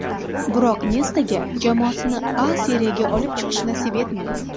Biroq Nestaga jamoasini A Seriyaga olib chiqish nasib etmaydi.